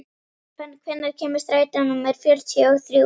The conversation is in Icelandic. Fönn, hvenær kemur strætó númer fjörutíu og þrjú?